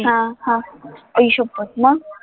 हा हा आई शप्पथ मग